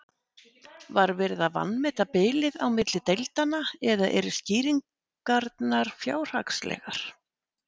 Var verið að vanmeta bilið á milli deildanna eða eru skýringarnar fjárhagslegar?